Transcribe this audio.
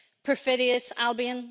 perfidious Albion.